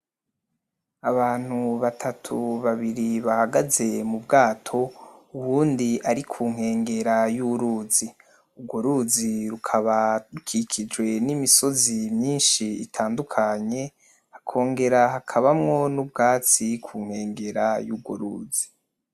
Abantu batatu babiri bahagaye mu bwato uwundi ari ku nkengera y'uruzi ugwo ruzi rukaba rukikijwe n'imisozi myinshi itandukanye hakongera hakabamwo n'ubwatsi kunkengera y'urwo ruzi.